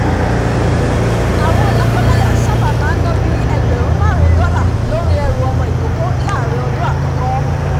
àwọn lọ́kọ-láya sábà máa ń ná bí i ẹgbẹ̀rún márùn-ún dollar lórí ẹrù ọmọ ìkókó láàrin ọdún àkọ́kọ́